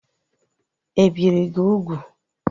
E biri gị ugwu?